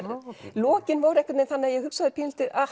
lokin voru einhvern veginn þannig að ég hugsaði pínulítið